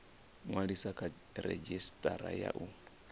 ṅwaliswa kha redzhisitara ya u